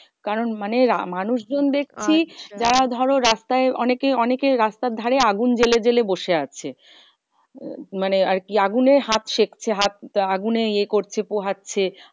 কারণ মানে মানুষ জন দেখছি যা ধরো রাস্তায় অনেকেই অনেকেই রাস্তার ধারে আগুন জ্বেলে জ্বেলে বসে আছে। মানে আরকি আগুনে হাত সেঁকছে হাত আগুনে ইয়ে করছে পোহাচ্ছে।